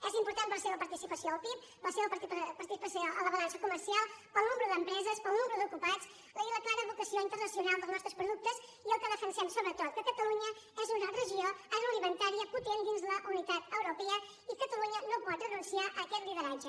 és important per la seva participació al pib per la seva participació en la balança comercial pel nombre d’empreses pel nombre d’ocupats i per la clara vocació internacional dels nostres productes i el que defensem sobretot que catalunya és una regió agroalimentària potent dins la unitat europea i catalunya no pot renunciar a aquest lideratge